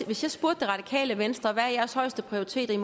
hvis jeg spurgte det radikale venstre hvad deres højeste prioritet er